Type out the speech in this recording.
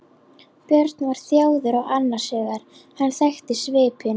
Björn var þjáður og annars hugar, hann þekkti svipinn.